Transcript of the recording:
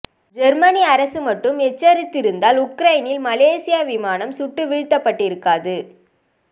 Germany அரசு மட்டும் எச்சரித்திருந்தால் உக்ரைனில் மலேசிய விமானம் சுட்டு வீழ்த்தப்பட்டிருக்காது